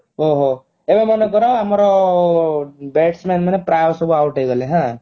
ଓଃ ହୋ ଏବେ ମନେ କର ଆମର bats man ମାନେ ପ୍ରାୟ ସବୁ out ହେଇଗଲେ ହାଁ